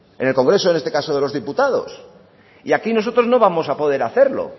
en el congreso en este caso de los diputados y aquí nosotros no vamos poder hacerlo